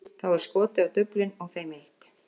Þá er skotið á duflin og þeim eytt.